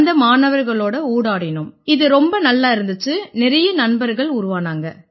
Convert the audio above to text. அந்த மாணவர்களோட ஊடாடினோம் இது ரொம்ப நல்லா இருந்திச்சு நிறைய நண்பர்கள் உருவானாங்க